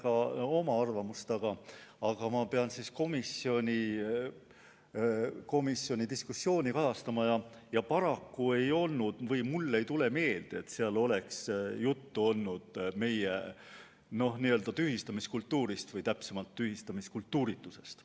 Räägiks hea meelega oma arvamusest, aga ma pean komisjoni diskussiooni kajastama ja paraku mulle ei tule meelde, et seal oleks juttu olnud meie n-ö tühistamiskultuurist või täpsemalt tühistamiskultuuritusest.